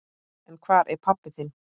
En hvar er pabbi þinn?